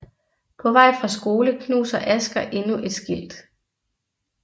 På vej fra skole knuser Asger endnu et skilt